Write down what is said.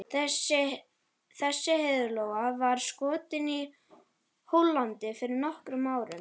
Þessi heiðlóa var skotin í Hollandi fyrir nokkrum árum.